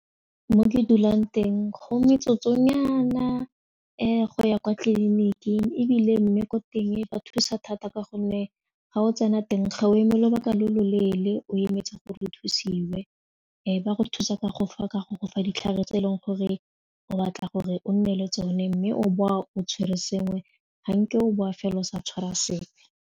Mo ke dulang teng go metsotso nyana go ya kwa tleliniking ebile mme ko teng ba thusa thata ka gonne ga o tsena teng ga o eme lobaka lo loleele o emetse gore o thusiwe ba go thusa ka go gofa ditlhare tse e leng gore o batla gore o nne le tsone mme o boa o tshwere sengwe ga nke o boa fela o sa tshwara sepe.